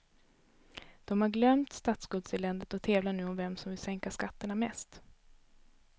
De har glömt statsskuldseländet och tävlar nu om vem som vill sänka skatterna mest.